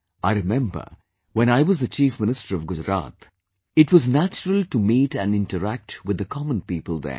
I remember, when I was the Chief Minister of Gujarat, it was natural to meet and interact with the common people there